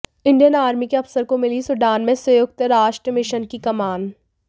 Indian army के अफसर को मिली सूडान में संयुक्त राष्ट्र मिशन की कमान